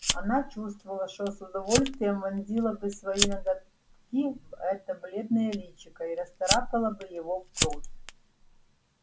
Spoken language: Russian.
она почувствовала что с удовольствием вонзила бы свои ноготки в это бледное личико и расцарапала бы его в кровь